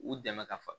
U dɛmɛ ka fa